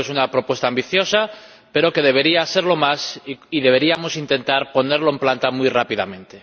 Creo que es una propuesta ambiciosa pero debería serlo más y deberíamos intentar ponerlo en planta muy rápidamente.